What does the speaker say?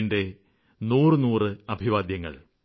എന്റെ നൂറുനൂറ് അഭിവാദ്യങ്ങള്